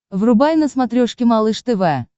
врубай на смотрешке малыш тв